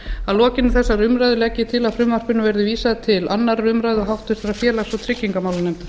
að lokinni þessari umræðu legg ég til að frumvarpinu verði vísað til annarrar umræðu og háttvirtur félags og tryggingamálanefndar